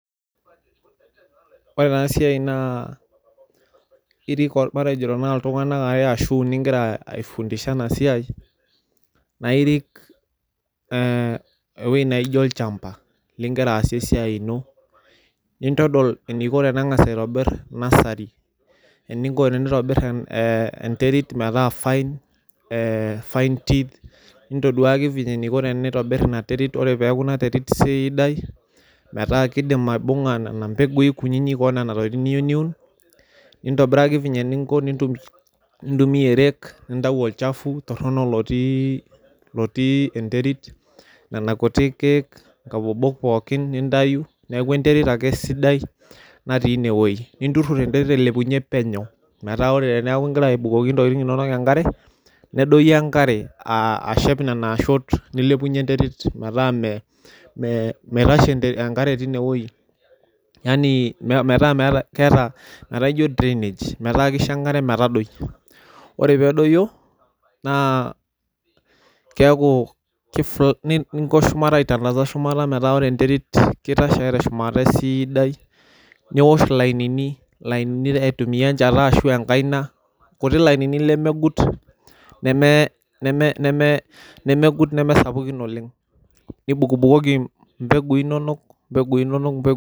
Ore ena siai naa irik matejo tenaa iltunganak okuni ashu aare ingira aifundisha ena siai naa irik ee ewueji naijo olchamba, ligira aasie esiai ino , nintodol eniko tenengas aitobir nursery eniko tenitobir ee enterit metaa fine ee fine teeth ,nintoduaki venye enaiko tenitobir ina terit , ore peaku ina terit siidai metaa kidim aibunga nena mbegui kuninik onena tokitin niyieu niun , nintobiraki venye ninko, nintumia erek, nintayu olchafu toronok lotii, lotii enterit, nena kuti kiek , nkabobok pookin nintayu niaku enterit ake sidai natii ine wuei , ninturur enterit ailepunyie penyo , metaa ore tenaa ingira abukoki intokitin inonok enkare , nedoyio enkare ashep nena toshot metaa me , meitashe enkare tine wuei yanii metaa, keeta, metaa ijo drainage , metaa kisho enkare metadoi . Ore pedoyio naa keeku , ninko shumata aitandaza shumata metaa ore enterit , kitashe ake teshumata esiidai , niosh ilainini, ilainini aitumia enchata ashu enkaina, kuti lainini lemegut neme, neme, nemegut nemesapukin oleng, nibukbukoi impegui inonok , impegui inonok .